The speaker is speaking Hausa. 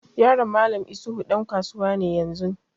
Yaron Mallam isuhu ɗan kasuwa ne yanzun.